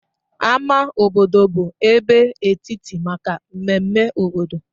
Ámá obodo bụ ebe etiti maka mmemme obodo.